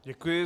Děkuji.